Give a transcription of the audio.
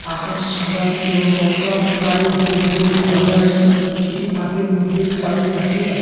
আকাশ সাদা এবং গঙ্গার পারে যে নৌকাগুলি বাঁধা আছে সেটি পাঁকের মধ্যে পাড়ের কাছেই আছ--